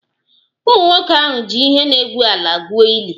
Ụmụnwoke ahụ ji ihe na-egwu ala gwuo ili